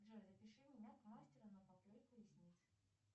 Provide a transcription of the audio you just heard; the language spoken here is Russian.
джой запиши меня к мастеру на поклейку ресниц